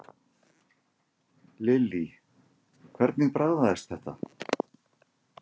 Lillý: Hvernig bragðaðist þetta?